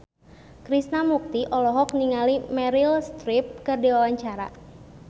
Krishna Mukti olohok ningali Meryl Streep keur diwawancara